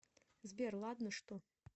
сбер ладно что